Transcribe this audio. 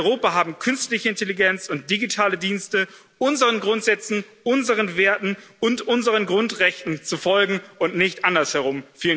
In Europa haben künstliche Intelligenz und digitale Dienste unseren Grundsätzen, unseren Werten und unseren Grundrechten zu folgen und nicht andersherum.